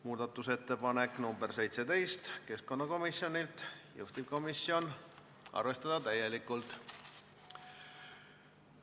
Muudatusettepanek nr 17 on keskkonnakomisjonilt, juhtivkomisjoni ettepanek on arvestada täielikult.